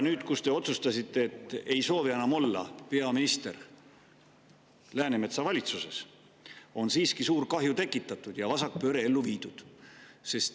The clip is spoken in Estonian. Nüüd te otsustasite, et te ei soovi enam olla peaminister Läänemetsa valitsuses, aga siiski on suur kahju tekitatud ja vasakpööre ellu viidud.